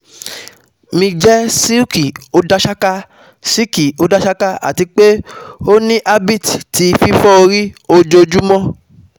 Mi jẹ silky odasaka, silky odasaka, ati pe o ni habbit ti fifọ ori ojoojumọ